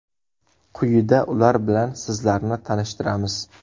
Quyida ular bilan sizlarni tanishtiramiz.